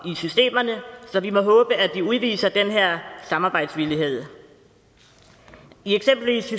i systemerne så vi må håbe at de udviser den her samarbejdsvillighed i eksempelvis